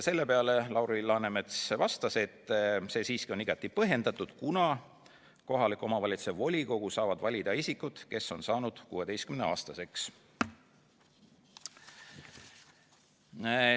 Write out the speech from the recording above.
Selle peale vastas Lauri Läänemets, et see on siiski igati põhjendatud, kuna kohaliku omavalitsuse volikogu saavad valida isikud, kes on saanud 16-aastaseks.